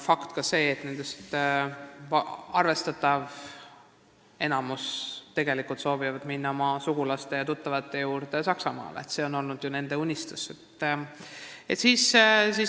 Fakt on see, et arvestatav enamik nendest soovivad tegelikult minna oma sugulaste ja tuttavate juurde Saksamaale – see on olnud nende unistus.